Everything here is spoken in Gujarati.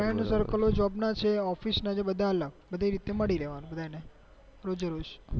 જોબ ના છે office ના છે બધા અલગ બધી એ રીત થી મળી લેવાનું